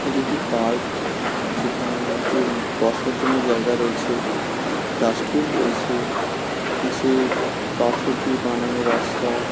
এটি একটি পার্ক যেখানে টিম বসার জন্য জায়গা রয়েছে ডাস্টবিন রয়েছে নিচে পাথর দিয়ে বানানো রাস্তা ।